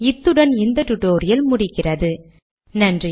இத்துடன் இந்த டியூட்டோரியல் முடிகிறது நன்றி